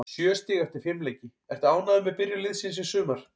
Sjö stig eftir fimm leiki, ertu ánægður með byrjun liðsins í sumar?